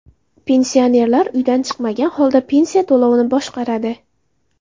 Pensionerlar uydan chiqmagan holda pensiya to‘lovini boshqaradi.